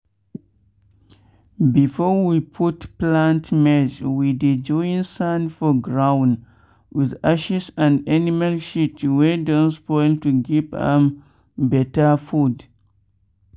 before we put plant maize we dey join sand for ground with ashes and animal shit wey don spoil to give am better food.